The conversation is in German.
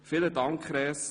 Vielen Dank, Res.